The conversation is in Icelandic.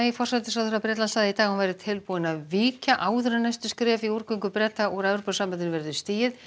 forsætisráðherra Bretlands sagði í dag að hún væri tilbúin að víkja áður en næsta skref í úrgöngu Breta úr Evrópusambandinu verður stigið